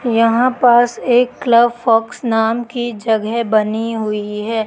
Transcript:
यहां पास एक क्लब फॉक्स नाम की जगह बनी हुई है।